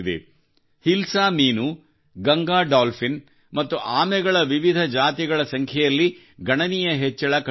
ಹಿಲ್ಸಾ ಮೀನು ಗಂಗಾ ಡಾಲ್ಫಿನ್ ಮತ್ತು ಆಮೆಗಳ ವಿವಿಧ ಜಾತಿಗಳ ಸಂಖ್ಯೆಯಲ್ಲಿ ಗಣನೀಯ ಹೆಚ್ಚಳ ಕಂಡುಬಂದಿದೆ